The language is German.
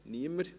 – Niemand